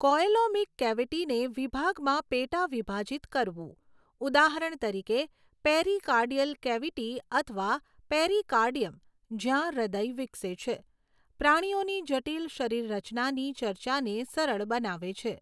Coelomic કેવિટીને વિભાગમાં પેટાવિભાજિત કરવું, ઉદાહરણ તરીકે, પેરીકાર્ડિયલ કેવિટી અથવા પેરીકાર્ડિયમ, જ્યાં હૃદય વિકસે છે, પ્રાણીઓની જટિલ શરીરરચનાની ચર્ચાને સરળ બનાવે છે.